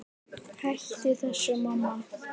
Hættu þessu, mamma!